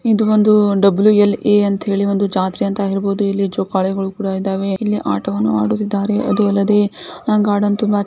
ಇದು ಒಂದು W L A ಅಂಥೇಳಿ ಒಂದು ಜಾತ್ರೆ ಅಂತ ಹೇಳಬಹುದು ಇಲ್ಲಿ ಜೋಕಾಲಿಗಳು ಕೂಡ ಇದ್ದವೇ ಇಲ್ಲಿ ಆಟವನ್ನು ಆಡುತ್ತಿದರೆ ಅದು ಅಲ್ಲದೆ ಆ ಗಾರ್ಡನ್ ಕೂಡಾ ತುಂಬಾ--